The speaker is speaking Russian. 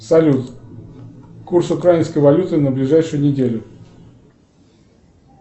салют курс украинской валюты на ближайшую неделю